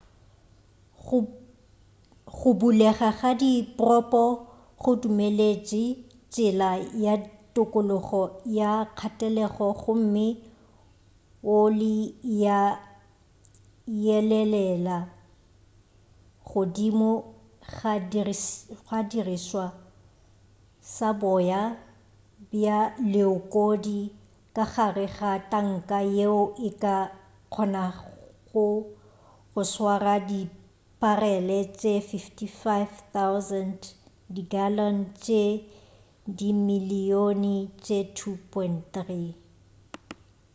go bulega ga dipropo go dumeletše tsela ya tokologo ya kgatelelo gomme oli ya yelelela godimo ga sedirišwa sa boya bja leokodi ka gare ga tanka yeo e ka kgonago go swara diparele tše 55,000 di gallon tše dimilyone tše 2.3